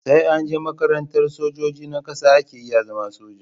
Sai anje makarantar sojoji na ƙasa ake iya zama soja